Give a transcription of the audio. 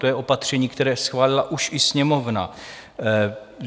To je opatření, které schválila už i Sněmovna.